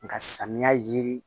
Nga samiya ji